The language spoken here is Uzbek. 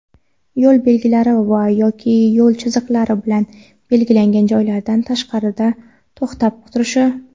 yo‘l belgilari va (yoki) yo‘l chiziqlari bilan belgilangan joylardan tashqarida to‘xtab turishi.